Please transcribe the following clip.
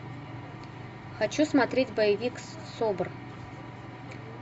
хочу смотреть боевик собор